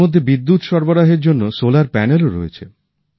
এর মধ্যে বিদ্যুৎ সরবরাহের জন্য সোলার প্যানেলও রয়েছে